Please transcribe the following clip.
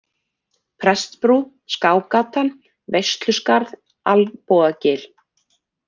Prestsbrú, Skágatan, Veisluskarð, Alnbogagil